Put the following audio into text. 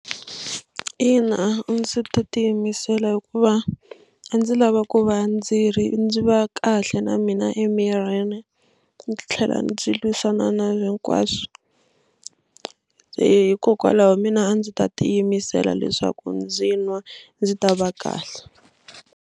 Ina, a ndzi ta tiyimisela hikuva a ndzi lava ku va ndzi ri ndzi va kahle na mina emirini ndzi tlhela ndzi lwisana na hinkwaswo se hikokwalaho mina a ndzi ta tiyimisela leswaku ndzi nwa ndzi ta va kahle.